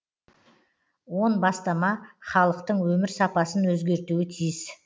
он бастама халықтың өмір сапасын өзгертуі тиіс